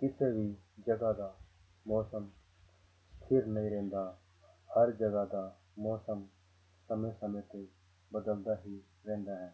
ਕਿਸੇ ਵੀ ਜਗ੍ਹਾ ਦਾ ਮੌਸਮ ਠੀਕ ਨਹੀਂ ਰਹਿੰਦਾ, ਹਰ ਜਗ੍ਹਾ ਦਾ ਮੌਸਮ ਸਮੇਂ ਸਮੇਂ ਤੇ ਬਦਲਦਾ ਹੀ ਰਹਿੰਦਾ ਹੈ,